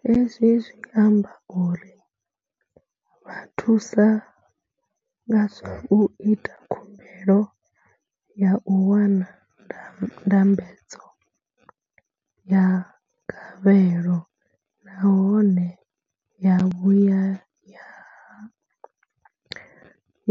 Hezwi zwi amba uri ri vha thusa nga zwa u ita khumbelo ya u wana ndambedzo ya gavhelo nahone ya vhuya